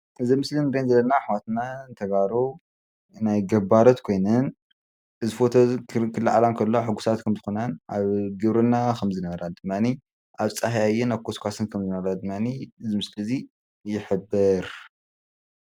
እዚ ምስሊ ንሪኦ ዘለና አሕዋትና ተጋሩ ናይ ገባራት ኮይነን እዚ ፎቶ እዚ ክልዓላ እንከለዋ ሕጉሳት ኮይነን ኣብ ግብርና ከምዝነበረ ድማኒ ኣብ ፃሀያይን ኣብ ኮስኳስን ከም ዝነበራ እዚ ምስሊ እዚ ይሕብር፡፡